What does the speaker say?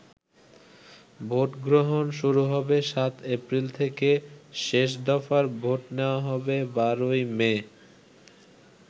ভোটগ্রহণ শুরু হবে সাত এপ্রিল থেকে, শেষ দফার ভোট নেওয়া হবে ১২ই মে।